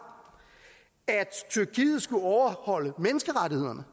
at tyrkiet skulle overholde menneskerettighederne